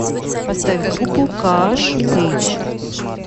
поставь группу кааш пэйдж